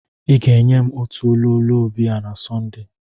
I ga-enye m otu ololo biya na Sọnde